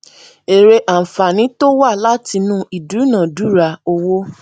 èrè ànfààní tó wá látinú ìdúnàándúrà owó